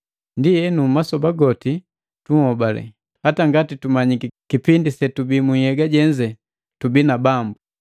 Ndienu masoba goti tunhobale, hata ingawa tumanyiki kipindi setubii munhyega jenze tubii na Bambu.